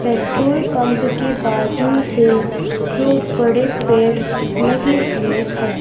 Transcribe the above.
Petrol pump के बाजू से दो बड़े पेड़ लगे हुए हैं।